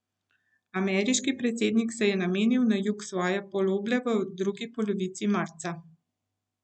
Ameriški predsednik se je namenil na jug svoje poloble v drugi polovici marca.